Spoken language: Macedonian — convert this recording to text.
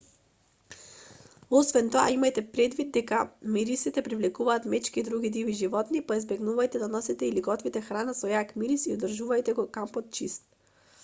освен тоа имајте предвид дека мирисите привлекуваат мечки и други диви животни па избегнувајте да носите или готвите храна со јак мирис и одржувајте го кампот чист